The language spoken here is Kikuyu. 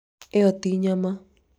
ĩyo ti nyama